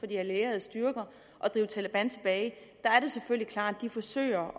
de allierede styrker at drive taleban tilbage er det selvfølgelig klart at de forsøger